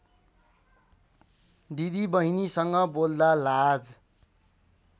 दिदीबहिनीसँग बोल्दा लाज